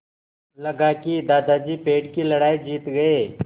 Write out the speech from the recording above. लगा कि दादाजी पेड़ की लड़ाई जीत गए